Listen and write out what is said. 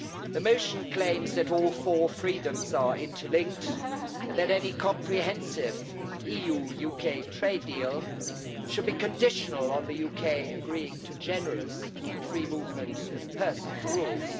The motion claims that all four freedoms are interlinked and that any comprehensive EU UK trade deal should be conditional on the UK agreeing to generous free movement of persons rules.